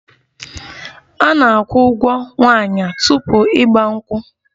A na-akwụ ụgwo nwaanyi tupu 'igba nkwu'